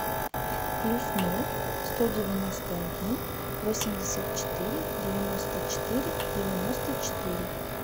плюс ноль сто девяносто один восемьдесят четыре девяносто четыре девяносто четыре